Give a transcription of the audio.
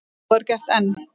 Og er gert enn.